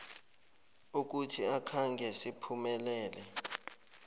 ukuthi akhange siphumelele